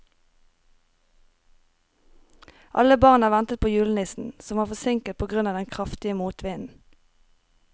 Alle barna ventet på julenissen, som var forsinket på grunn av den kraftige motvinden.